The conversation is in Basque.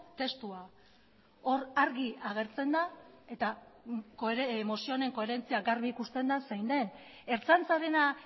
testua hor argi agertzen da eta mozio honen koherentzia garbi ikusten da zein den ertzaintzarena